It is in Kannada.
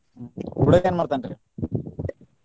ಹುಡಗ ಏನ್ ಮಾಡ್ತನ್ರಿ?